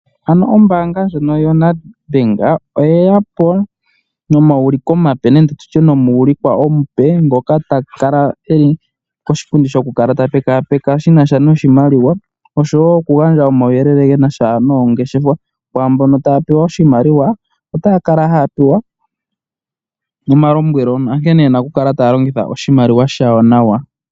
Ano ombaanga ndjono yoNedBank oyeya po nomauliko omape nenge tutye omuulikwa omupe ngoka ta kala eli koshipundi shoku kala ta pekapeka shina sha noshimaliwa osho wo okugandja omauyelele gena sha noongeshefa. Kwaambono taya pewa oshimaliwa otaya kala haya pewa omalombwelo onkene yena okukala taya longitha oshimaliwa shawo nawa.